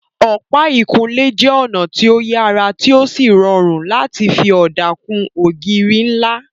Ọ̀pá ìkunlé jẹ́ ọ̀nà tó yàrá tí ó sì rọrùn láti fi ọ̀dà kun ògiri ńlá